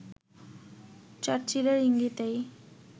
চার্চিলের ইঙ্গিতেই